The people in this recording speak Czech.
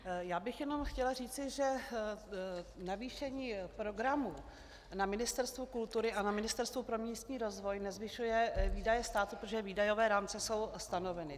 Já bych jenom chtěla říci, že navýšení programu na Ministerstvu kultury a na Ministerstvu pro místní rozvoj nezvyšuje výdaje státu, protože výdajové rámce jsou stanoveny.